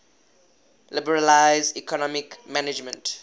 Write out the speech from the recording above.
liberalize economic management